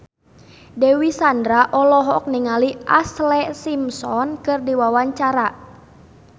Dewi Sandra olohok ningali Ashlee Simpson keur diwawancara